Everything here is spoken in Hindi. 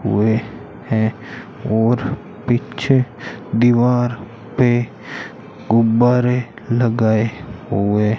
हुए हैं और पीछे दीवार पे गुब्बारे लगाए हुए --